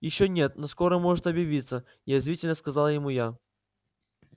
ещё нет но скоро может объявиться язвительно сказала ему я